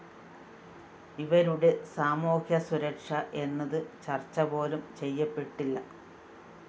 ഇവരുടെ സാമൂഹ്യസുരക്ഷ എന്നത് ചര്‍ച്ചപോലും ചെയ്യപ്പെട്ടില്ല